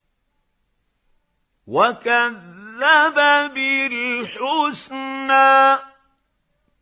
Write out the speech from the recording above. وَكَذَّبَ بِالْحُسْنَىٰ